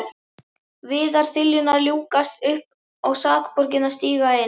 Viðarþiljurnar ljúkast upp og sakborningarnir stíga inn.